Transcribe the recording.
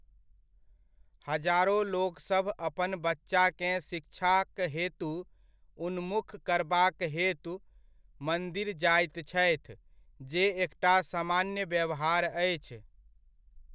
हजारो लोकसभ अपन बच्चाकेँ शिक्षाक हेतु उन्मुख करबाक हेतु मन्दिर जाइत छथि जे एकटा सामान्य व्यवहार अछि।